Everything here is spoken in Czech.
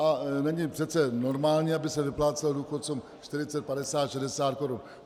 A není přece normální, aby se vyplácelo důchodcům 40, 50, 60 korun.